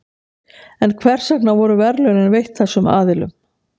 en hvers vegna voru verðlaunin veitt þessum aðilum